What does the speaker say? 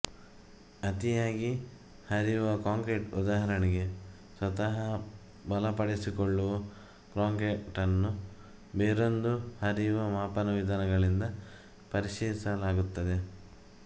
ಅತಿಯಾಗಿ ಹರಿವ ಕಾಂಕ್ರೀಟ್ ಉದಾಹರಣೆಗೆ ಸ್ವತಃ ಬಲಪಡಿಸಿಕೊಳ್ಳುವ ಕಾಂಕ್ರೀಟ್ ನ್ನು ಬೇರೊಂದು ಹರಿವಮಾಪನಾ ವಿಧಾನಗಳಿಂದ ಪರೀಕ್ಷಿಸಲಾಗುತ್ತದೆ